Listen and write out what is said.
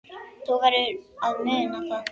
Þú verður að muna það.